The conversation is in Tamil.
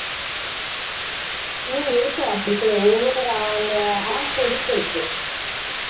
ஹம் இருக்கு அப்படிக்கூட ஒவ்வொரு அந்த app பொறுத்து இருக்கு